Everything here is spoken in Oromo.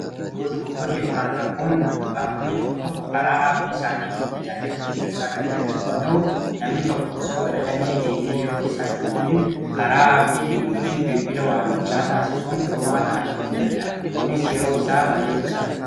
yoo dogoggorrii yokaan rakkoon uumamuu baankotni tokko tokko karaa aappii isaaniitiin tajaajila dheeggarsaa kan kenna yoo ta'u namni tokko osoo garaa damee deemee yeroo isaa hin gubiin karaa aappiitiin yookiin bilbila waamichaa taasisuun furmaata argachuu dadda'a kunis yeroo isaa baa'ee quusata